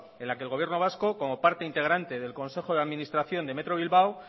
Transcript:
en la que el gobierno vasco como parte integrante del consejo de administración de metro bilbao